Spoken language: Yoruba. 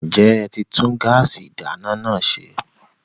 Ǹjẹ́ ẹ ti tún gáàsì ìdáná náà ṣe?